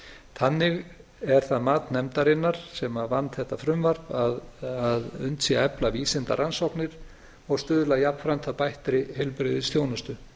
þannig er það mat nefndarinnar sem vann þetta frumvarp að unnt sé að efla vísindarannsóknir og stuðla jafnframt að bættri heilbrigðisþjónustu